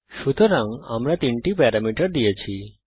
সুতরাং আমরা তিনটি প্যারামিটার দিয়েছি